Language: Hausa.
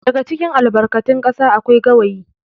daga cikin albarkatin kasa akwai gawayi